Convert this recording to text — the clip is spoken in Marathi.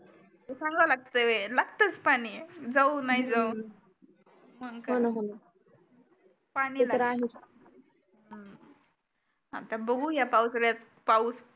सांगावं लागतं व्हाय लागतच पाणी जाऊ नाही जाऊ होणं होणं ते तर आहेच आता बघू या पावसाळ्यात पाऊस